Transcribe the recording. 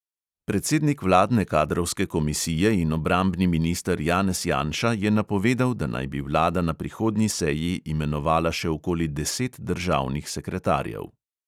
Predsednik vladne kadrovske komisije in obrambni minister janez janša je napovedal, da naj bi vlada na prihodnji seji imenovala še okoli deset državnih sekretarjev.